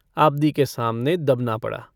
आबदी के सामने दबना पड़ा।